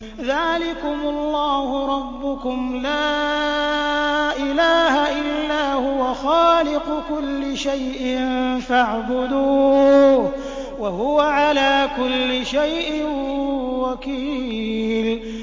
ذَٰلِكُمُ اللَّهُ رَبُّكُمْ ۖ لَا إِلَٰهَ إِلَّا هُوَ ۖ خَالِقُ كُلِّ شَيْءٍ فَاعْبُدُوهُ ۚ وَهُوَ عَلَىٰ كُلِّ شَيْءٍ وَكِيلٌ